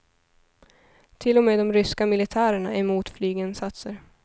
Till och med de ryska militärerna är emot flyginsatser.